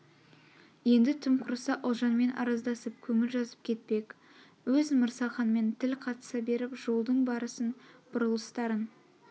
енді тым құрыса ұлжанмен арыздасып көңіл жазып кетпек өз мырзаханмен тіл қатыса беріп жолдың барысын бұрылыстарын